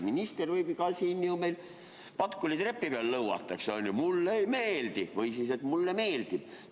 " Minister võib ka siin Patkuli trepi peal lõuata, eks ju: "Mulle ei meeldi!" või "Mulle meeldib!